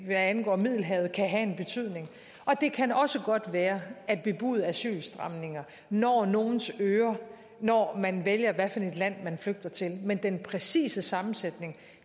angår middelhavet kan også have en betydning det kan også godt være at bebudede asylstramninger når nogles ører når man vælger hvad for et land man flygter til men den præcise sammensætning